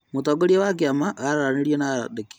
Mũtongoria wa kĩama araranĩria na andĩki